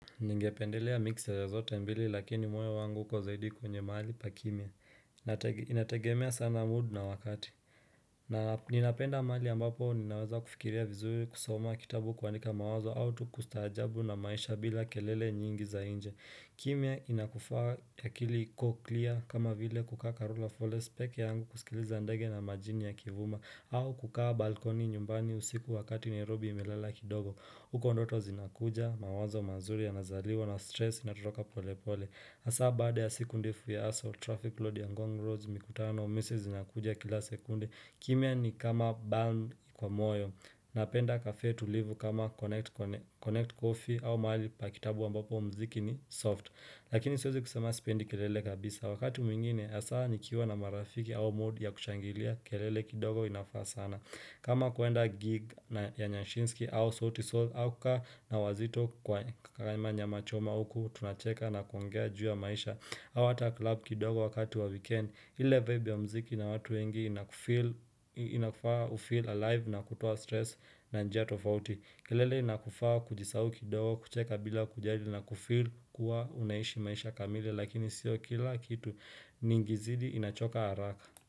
Ningependelea miksi ya zote mbili lakini moyo wangu huko zaidi kwenye mahali pa kimya inategemea sana mood na wakati na ninapenda mahali ambapo ninaweza kufikiria vizui kusoma kitabu kuandika mawazo au tukustaajabu na maisha bila kelele nyingi za nje kimya inakufaa akili iko clear kama vile kukaa karura forest pekee yaangu kusikiliza ndege na majini ya kivuma au kukaa balkoni nyumbani usiku wakati nairobi imelala kidogo huko ndoto zinakuja, mawazo mazuri ya nazaliwa na stress inatoroka pole pole hAsa baada ya siku ndefu ya hustle, traffic load ya ngong road mikutano, misi zinakuja kila sekunde kimia ni kama bhang kwa moyo, napenda cafe tulivu kama connect coffee au mahali pa kitabu ambapo mziki ni soft lakini siwezi kusema sipendi kelele kabisa wakati mwingine hasa nikiwa na marafiki au mood ya kushangilia krlele kidogo inafaa sana kama kuenda gig ya nyanshinski au sauti soul au kukaa na wazito kwa kama nyamama choma uku tunacheka na kuongea juu ya maisha au hata klub kidogo wakati wa weekend ile vibe ya mziki na watu wengi inakufaa ufeel alive na kutoa stress na njia tofauti kelele inakufaa kujisahau kidogi kucheka bila kujali na kufeel kuwa unaishi maisha kamili lakini sio kila kitu nikizidi inachoka haraka.